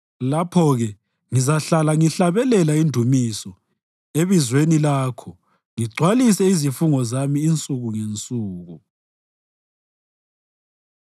Lapho-ke ngizahlala ngihlabelela indumiso ebizweni Lakho ngigcwalise izifungo zami insuku ngensuku.